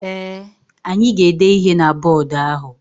Ee, anyị ga-ede ihe na bọdụ ahụ.